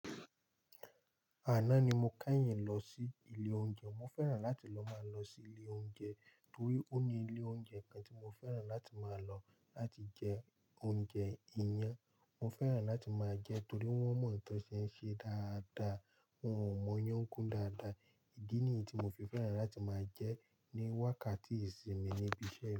Àná ni mo keyìn lọ sí ilé oúnjẹ. Mo fẹ́ràn láti lọ máa lọ sí ilé oúnjẹ torí ó ní ilé oúnjẹ kan tí mo fẹ́ràn láti máa lọ láti jẹ oúnjẹ íyan. Mo fẹ́ràn láti máa jẹ torí wọ́n mọ tàn ṣe ń ṣe dáadáa, wọ́n o mọ yán kún dáadáa. Ìdí nìyí tí mo fi fẹ́ràn láti máa jẹ ní wákàtí ìsinmi níbi iṣẹ́.